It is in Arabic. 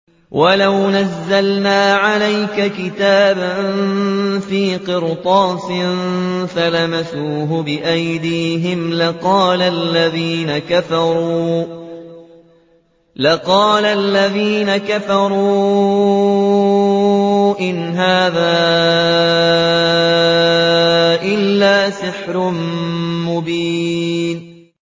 وَلَوْ نَزَّلْنَا عَلَيْكَ كِتَابًا فِي قِرْطَاسٍ فَلَمَسُوهُ بِأَيْدِيهِمْ لَقَالَ الَّذِينَ كَفَرُوا إِنْ هَٰذَا إِلَّا سِحْرٌ مُّبِينٌ